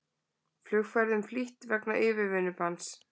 Flugferðum flýtt vegna yfirvinnubanns